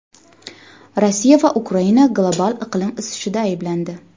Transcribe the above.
Rossiya va Ukraina global iqlim isishida ayblandi.